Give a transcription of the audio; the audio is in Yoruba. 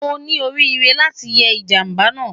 O ni orire lati ye ijamba naa